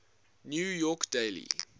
new york daily